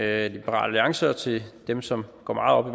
alliance og til dem som går meget op